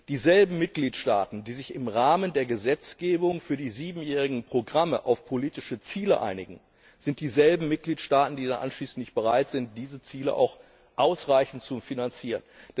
Die Mitgliedstaaten, die sich im Rahmen der Gesetzgebung für die siebenjährigen Programme auf politische Ziele einigen, sind dieselben Mitgliedstaaten, die dann anschließend nicht bereit sind, diese Ziele auch ausreichend zu finanzieren.